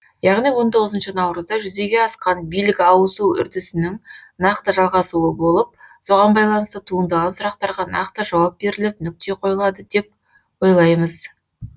яғни он тоғызыншы наурызда жүзеге асқан билік ауысу үрдісінің нақты жалғасуы болып соған байланысты туындаған сұрақтарға нақты жауап беріліп нүкте қойылады деп ойлаймыз